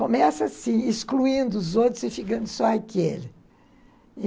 Começa assim, excluindo os outros e ficando só aquele.